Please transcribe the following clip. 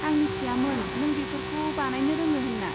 आं मिथियामोन नों बेफोरखौ बानायनो रोङो होन्ना।